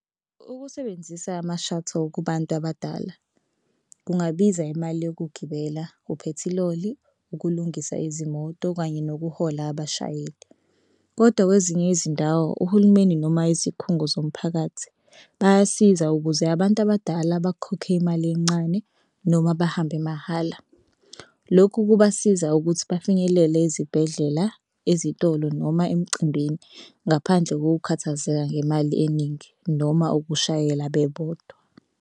Ukusebenzisa ama-shuttle kubantu abadala kungabiza imali yokugibela, uphethiloli, ukulungisa izimoto kanye nokuhola abashayeli. Kodwa kwezinye izindawo uhulumeni noma izikhungo zomphakathi bayasiza ukuze abantu abadala bakhokhe imali encane noma bahambe mahhala. Lokhu kuzobasiza ukuthi bafinyelele ezibhedlela ezitolo noma emcimbini ngaphandle kokukhathazeka ngemali eningi noma ukushayela bebodwa.